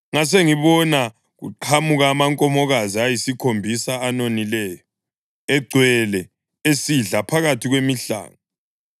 ngasengibona kuqhamuka amankomokazi ayisikhombisa, anonileyo, egcwele, esidla phakathi kwemihlanga.